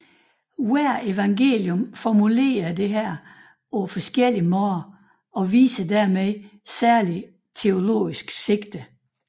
Hvert evangelium formulerer dette på forskellig måde og viser derved et særligt teologisk sigte